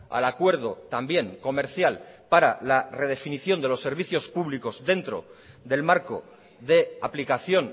al acuerdo también comercial para la redefinición de los servicios públicos dentro del marco de aplicación